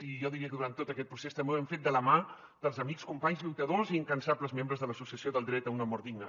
i jo diria que durant tot aquest procés també ho hem fet de la mà dels amics companys lluitadors i incansables membres de l’associació dret a una mort digna